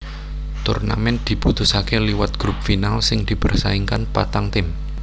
Turnamen diputusaké liwat grup final sing dipersaingkan patang tim